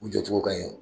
U jɔ cogo ka ɲi